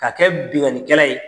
Ka kɛ binkannikɛla ye